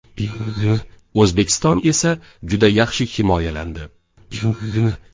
O‘zbekiston esa juda yaxshi himoyalandi.